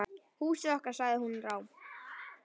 Húsið okkar.- sagði hún rám.